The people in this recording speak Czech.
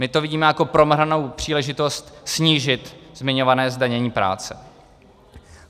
My to vidíme jako promrhanou příležitost snížit zmiňované zdanění práce.